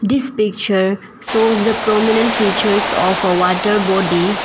This picture shows the prominent features of a water body.